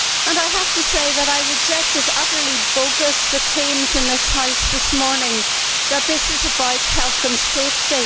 I have to say that I reject as utterly bogus the claims in this House this morning that this is about health and safety.